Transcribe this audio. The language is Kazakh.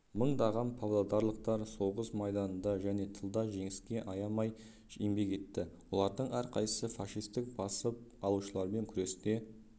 мыңдаған павлодарлықтар соғыс майданында және тылда жеңіске аямай еңбек етті олардың әрқайсысы фашистік басып алушылармен күресте